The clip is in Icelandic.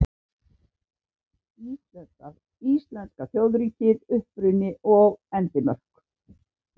Íslenska þjóðríkið: Uppruni og endimörk.